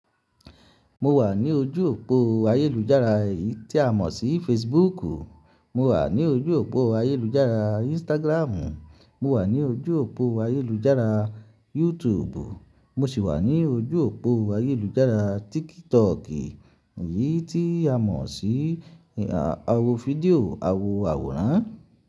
Mo wà ní ojú òpó ayélujára tí a mọ̀ sí Facebook. Mo wà ní ojú òpó ayélujára Instagram. Mo wà ní ojú òpó ayélujára YouTube. Mo sì wà ní ojú òpó ayélujára TikTok yìí tí a mọ̀ sí awọ fídíò awọ àwòrán.